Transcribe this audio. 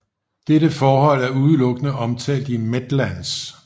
Dette forhold er udelukkende omtalt i Medlands